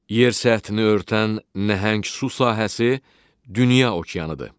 Yer səthini örtən nəhəng su sahəsi dünya okeanıdır.